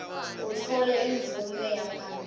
utfole imvume yaphambilini